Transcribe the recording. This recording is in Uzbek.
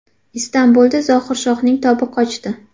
Istanbulda Zohirshohning tobi qochdi.